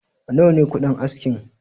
Nawa ne kuɗin askin?